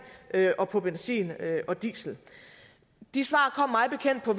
og på benzin og diesel de svar kom mig bekendt på